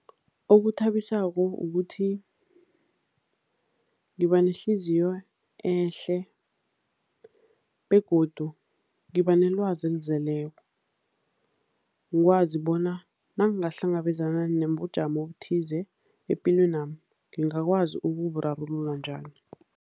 Okuthabisako ukuthi ngiba nehliziyo ehle begodu ngiba nelwazi elizeleko. Ngikwazi bona nangingahlangabezana nobujamo obuthize epilwenami, ngingakwazi ukuburarulula njani.